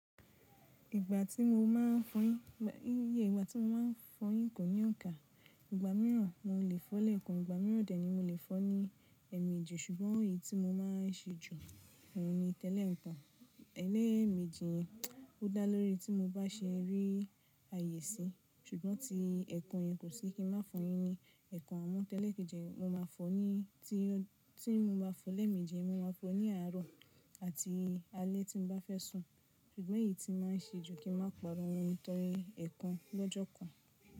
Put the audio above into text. Ìgbà tí mo má a fọyín, iyè ìgbà tí mo má a fọyín kò ní òǹkà. Ìgbà mìíràn mo lè fọ́ lẹ̀kan, ìgbà mìíràn dè ní mo lè fọ́ ní èèmejì ṣùgbọ́n èyí tí mo má a n se jù, òun ni tẹ́lẹ̀ ekan. Ẹlẹ́ẹ̀mẹ́jì yẹn ò dáa lórí tí mo bá se rí àyè si ṣùgbọ́n tí ẹ̀kan yẹn kò sí kí n má fọyín ni ẹ̀kan àmú tẹ́lẹ̀ kejì mo má a fọ ní tí mo bá fọ́ lẹ́ẹ̀mẹ́jì, mo má a fọ ní àárọ̀ àti alẹ́ tí mo bá fẹ́ sùn ṣùgbọ́n èyí tí màá n ṣe jù ni kí n máa pàrọ̀ ohun nítorí ẹ̀kan lọ́jọ́ kan.